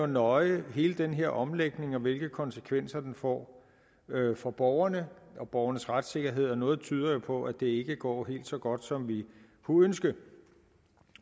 nøje hele den her omlægning og hvilke konsekvenser den får for borgerne og borgernes retssikkerhed og noget tyder jo på at det ikke går helt så godt som vi kunne ønske